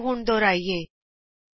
ਆਓ ਹੁਣ ਦੁਹਰਾਈਏ